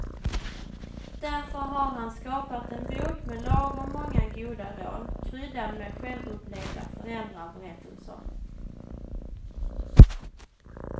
Därför har han skapat en bok med lagom många goda råd, kryddad med självupplevda föräldraberättelser.